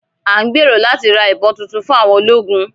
À ń gbèrò láti ra ìbọn tuntun fún àwọn ológun